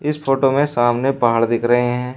इस फोटो में सामने पहाड़ दिख रहे हैं।